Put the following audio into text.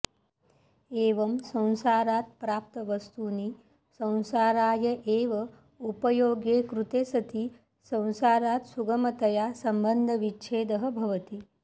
एवं संसारात् प्राप्तवस्तूनि संसाराय एव उपयोगे कृते सति संसारात् सुगमतया सम्बन्धविच्छेदः भवति